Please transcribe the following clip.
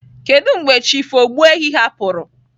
Kedu mgbe Chief Ogbuefi hapụrụ?